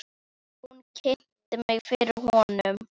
Hún kynnti mig fyrir honum.